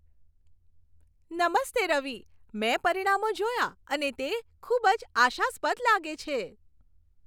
નમસ્તે રવિ, મેં પરિણામો જોયા અને તે ખૂબ જ આશાસ્પદ લાગે છે.